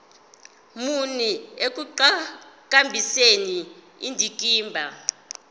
muni ekuqhakambiseni indikimba